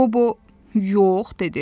Qobo, yox dedi.